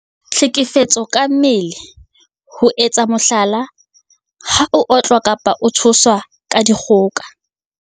Tlhekefetso ka mmele- ho etsa mohlala, ha o otlwa kapa ho tshoswa ka dikgoka.